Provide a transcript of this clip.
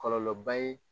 Kɔlɔlɔba ye